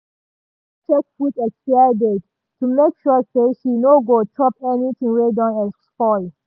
she dey always check food expiry date to make sure say she no go chop anything wey don spoil.